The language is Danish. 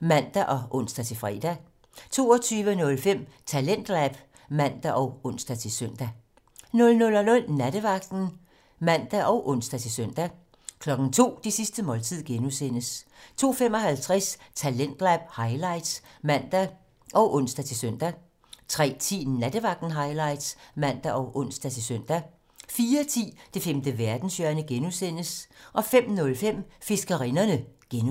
(man og ons-fre) 22:05: Talentlab (man og ons-søn) 00:00: Nattevagten (man og ons-søn) 02:00: Det sidste måltid (G) 02:55: Talentlab highlights (man og ons-søn) 03:10: Nattevagten Highlights (man og ons-søn) 04:10: Det femte verdenshjørne (G) 05:05: Fiskerinderne (G)